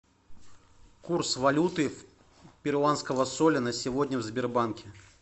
курс валюты перуанского соля на сегодня в сбербанке